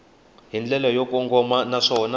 hi ndlela yo kongoma naswona